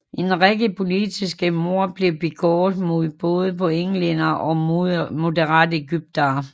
En række politiske mord blev begået mod både på englændere og moderate egyptere